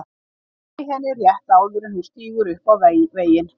Ég næ henni rétt áður en hún stígur upp á veginn.